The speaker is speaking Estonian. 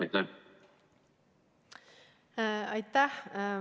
Aitäh!